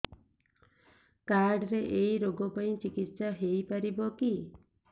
card ରେ ଏଇ ରୋଗ ପାଇଁ ଚିକିତ୍ସା ହେଇପାରିବ କି